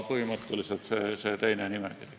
Põhimõtteliselt selline nimekiri.